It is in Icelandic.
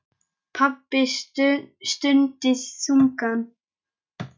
Pabbi stundi þungan.